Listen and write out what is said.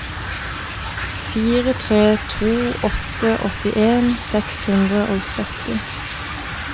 fire tre to åtte åttien seks hundre og sytti